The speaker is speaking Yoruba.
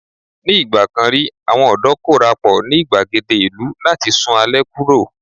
ní igbakan ri àwọn ọdọ korapo ni igbagede ìlú láti sun alẹ́ kuro